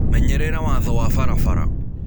Menyerera watho wa barabara.